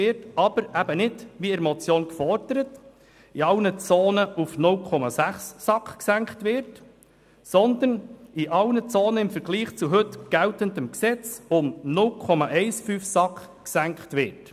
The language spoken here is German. Dies aber nicht wie in der Motion gefordert, indem die SAK in allen Zonen auf 0,6 gesenkt wird, sondern indem im Vergleich zum heute geltenden Gesetz die SAK in allen Zonen um 0,15 gesenkt wird.